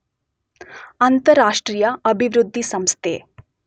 ಅಂತಾರಾಷ್ಟ್ರೀಯ ಅಭಿವೃದ್ಧಿ ಸಂಸ್ಥೆ